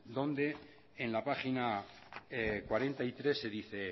donde en la página cuarenta y tres se dice